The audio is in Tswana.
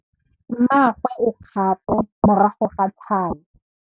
Mmagwe o kgapô morago ga tlhalô.